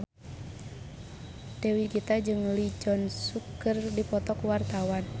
Dewi Gita jeung Lee Jeong Suk keur dipoto ku wartawan